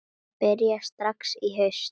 Það byrjaði strax í haust